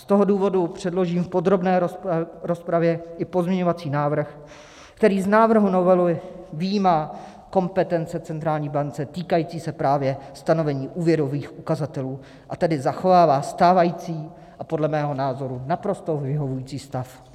Z toho důvodu předložím v podrobné rozpravě i pozměňovací návrh, který z návrhu novely vyjímá kompetence centrální banky týkající se právě stanovení úvěrových ukazatelů, a tedy zachovává stávající a podle mého názoru naprosto vyhovující stav.